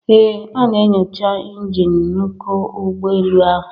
Ee A na-enyocha injin nku ụgbọ elu ahụ